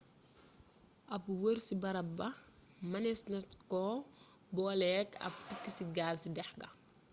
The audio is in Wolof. ab wër ci bërëb ba mënees na ko booleek ab tukki ci gaal ci dex ga